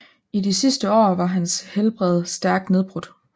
I de sidste år var hans helbred stærkt nedbrudt